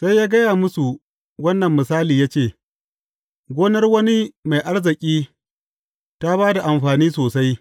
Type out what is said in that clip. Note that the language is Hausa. Sai ya gaya musu wannan misali ya ce, Gonar wani mai arziki ta ba da amfani sosai.